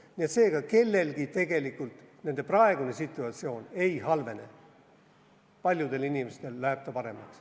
Nii et seega, kellelgi tegelikult praegune situatsioon ei halvene, paljudel inimestel läheb see paremaks.